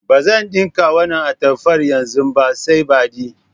Ba zan ɗinka wannan atamfar yanzu ba sai badi.